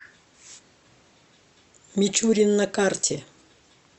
мичурин на карте